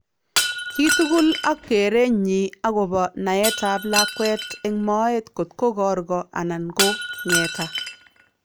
Chii tukul ak kereenyin akobo naetab lakweet en moet kokto korko anan ko ng'eta